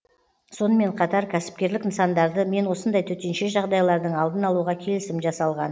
сонымен қатар кәсіпкерлік нысандары мен осындай төтенше жағдайлардың алдын алуға келісім жасалған